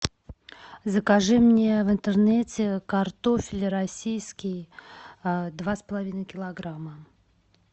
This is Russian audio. закажи мне в интернете картофель российский два с половиной килограмма